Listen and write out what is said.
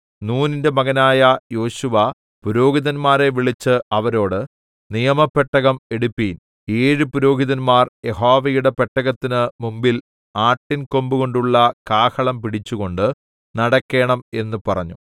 നൂനിന്റെ മകനായ യോശുവ പുരോഹിതന്മാരെ വിളിച്ച് അവരോട് നിയമപെട്ടകം എടുപ്പിൻ ഏഴ് പുരോഹിതന്മാർ യഹോവയുടെ പെട്ടകത്തിന് മുമ്പിൽ ആട്ടിൻ കൊമ്പുകൊണ്ടുള്ള കാഹളം പിടിച്ചുകൊണ്ട് നടക്കേണം എന്ന് പറഞ്ഞു